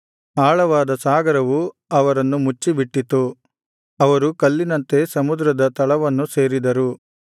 ಆಳವಾದ ಸಾಗರವು ಅವರನ್ನು ಮುಚ್ಚಿಬಿಟ್ಟಿತು ಅವರು ಕಲ್ಲಿನಂತೆ ಸಮುದ್ರದ ತಳವನ್ನು ಸೇರಿದರು